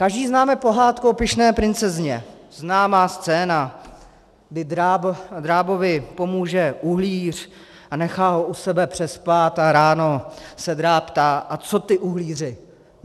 Každý známe pohádku o pyšné princezně, známá scéna, kdy drábovi pomůže uhlíř a nechá ho u sebe přespat a ráno se dráb ptá: A co ty, uhlíři?